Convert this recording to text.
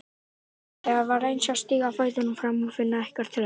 Þetta var eins og að stíga fætinum fram og finna ekkert þrep.